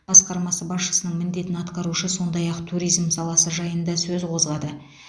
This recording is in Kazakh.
басқармасы басшысының міндетін атқарушы сондай ақ туризм саласы жайында сөз қозғады